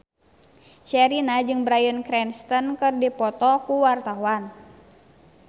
Sherina jeung Bryan Cranston keur dipoto ku wartawan